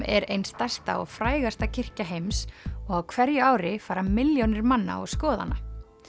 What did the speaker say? er ein stærsta og frægasta kirkja heims og á hverju ári fara milljónir manna og skoða hana